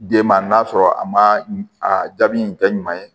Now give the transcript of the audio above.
Den ma n'a sɔrɔ a ma a jaabi in kɛ ɲuman ye